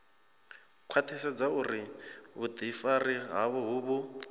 khwaṱhisedza uri vhuḓifari havho vhu